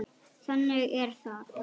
Þannig er það.